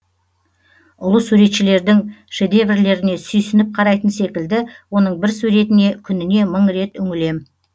ұлы суретшілердің шедеверлеріне сүйсініп қарайтын секілді оның бір суретіне күніне мың рет үңілем